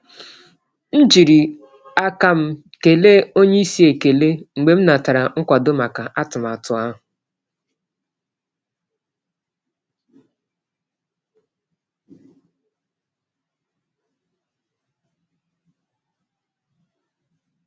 M jiri aka m kee oga ekele mgbe m natara nkwado maka atụmatụ ahụ.